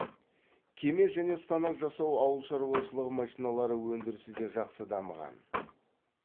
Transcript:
кеме және станок жасау ауыл шаруашылық машиналары өндірісі де жақсы дамыған